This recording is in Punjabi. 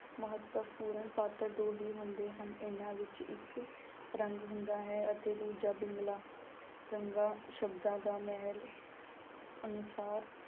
ਮਹੱਤਵਪੂਰਨ ਪਾਤਰ ਦੋ ਹੀ ਹੁੰਦੇ ਹਨ, ਇਹਨਾਂ ਵਿੱਚ ਇੱਕ ਰੰਗ ਹੁੰਦਾ ਹੈ ਅਤੇ ਦੂਜਾ ਬਿਗਲਾ, ਰੰਗਾ ਸ਼ਬਦਾਂ ਦਾ ਮਹਿਲ ਉਸਾਰ